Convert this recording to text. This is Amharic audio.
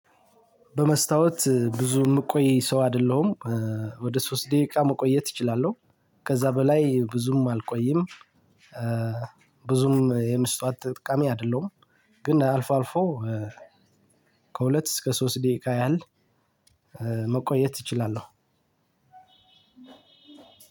በመስታወት ብዙ የምቆይ ሰው አይደለሁም ወደ ሶስት ደቂቃ መቆየት እችላለሁ ከዛ በላይ ብዙም አልቆይም። ብዙም የመስታወት ተጠቃሚ አይደለሁም። ግን አልፎ አልፎ ከሁለት እስከ ሶስት ደቂቃ ያህል። መቆየት እችላለሁ።